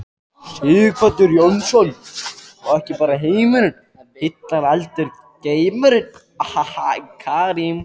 Sighvatur Jónsson: Og ekki bara heimurinn heillar heldur geimurinn?